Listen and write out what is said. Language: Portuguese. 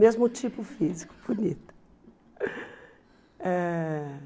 Mesmo tipo físico, bonita. Eh